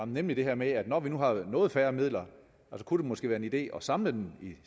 nemlig det her med at når der nu er noget færre midler kunne det måske være en idé at samle dem